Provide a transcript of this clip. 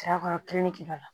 Saya kɔrɔ kiri b'a la